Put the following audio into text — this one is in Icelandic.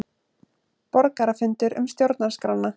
Borgarafundur um stjórnarskrána